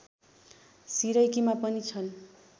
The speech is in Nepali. सिरैकीमा पनि छन्